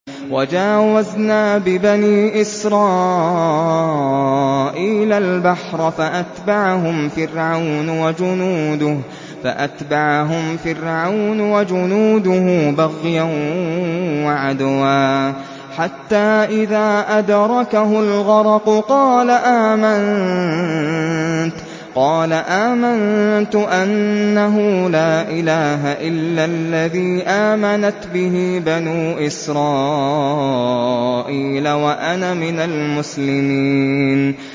۞ وَجَاوَزْنَا بِبَنِي إِسْرَائِيلَ الْبَحْرَ فَأَتْبَعَهُمْ فِرْعَوْنُ وَجُنُودُهُ بَغْيًا وَعَدْوًا ۖ حَتَّىٰ إِذَا أَدْرَكَهُ الْغَرَقُ قَالَ آمَنتُ أَنَّهُ لَا إِلَٰهَ إِلَّا الَّذِي آمَنَتْ بِهِ بَنُو إِسْرَائِيلَ وَأَنَا مِنَ الْمُسْلِمِينَ